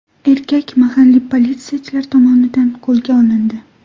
Erkak mahalliy politsiyachilar tomonidan qo‘lga olindi.